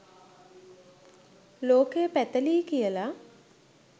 ලෝකය පැතලියි කියල